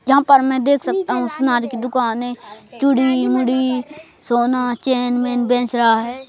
यहां पर मैं देख सकता हूं सुनार की दुकान है चूड़ी मुड़ी सोना चैन मेन बेंच रहा है।